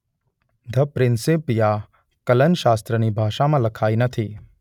the Principia કલનશાસ્ત્રની ભાષામાં લખાઈ નથી